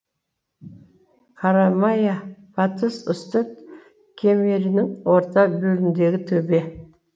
қарамая батыс үстірт кемерінің орта бөлігіндегі төбе